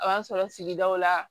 A y'a sɔrɔ sigidaw la